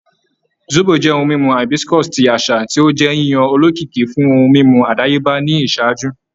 Zobo jẹ ohun mimu hibiscus ti aṣa ti o jẹ yiyan olokiki fun ohun mimu adayeba ni iṣaaju